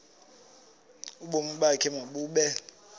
ubomi bakho mabube